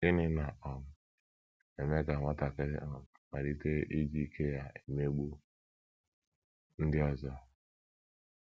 GỊNỊ na um - eme ka nwatakịrị um malite iji ike ya emegbu ndị ọzọ?